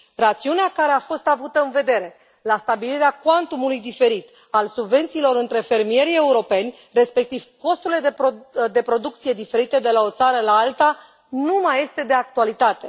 Rațiunea care a fost avută în vedere la stabilirea cuantumului diferit al subvențiilor între fermierii europeni, respectiv costurile de producție diferite de la o țară la alta, nu mai este de actualitate.